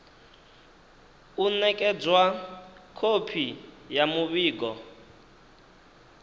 u nekedzwa khophi ya muvhigo